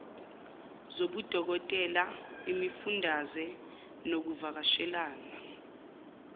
zobudokotela imifundaze nokuvakashela